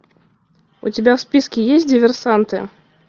у тебя в списке есть диверсанты